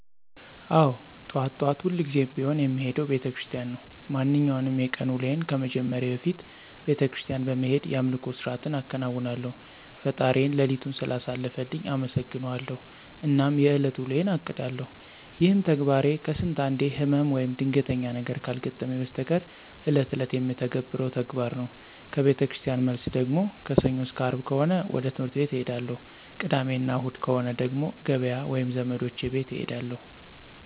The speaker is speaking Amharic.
አዎ ጠዋት ጠዋት ሁልጊዜም ቢሆን የምሄደው ቤተክርስቲያን ነው። ማንኛውንም የቀን ውሎዬን ከመጀመሬ በፊት ቤተክርስቲያን በመሄድ የአምልኮ ስርዓትን አከናውናለሁ፣ ፈጣሪዬን ሌሊቱን ስላሳለፈልኝ አመሠግነዋለሁ አናም የእለት ውሎዬን አቅዳለሁ። ይሄም ተግባሬ ከስንት አንዴ ህመም ወይም ድንገተኛ ነገር ካልገጠመኝ በስተቀር እለት እለት የምተገብረው ተግባር ነው። ከቤተክርስቲያን መልስ ደግሞ ከሰኞ አስከ አርብ ከሆነ ወደ ትህምርት ቤት እሄዳለሁ። ቅዳሜ እና እሁድ ከሆነ ደግሞ ገበያ ወይም ዘመዶቼ ቤት እሄዳለሁ።